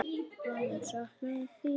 Hann mun sakna mín.